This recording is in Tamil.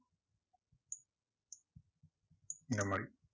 இந்த மாதிரி